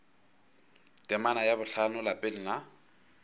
temana ya bohlano lapeng la